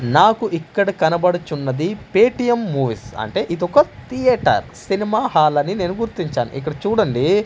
నాకు ఇక్కడ కనబడుచున్నది పేటీఎం మూవీస్ అంటే ఇదొక థియేటర్ సినిమా హాల్ అని నేను గుర్తించాను ఇక్కడ చూడండి.